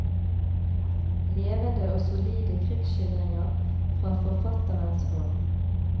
Levende og solide krigsskildringer fra forfatterens hånd.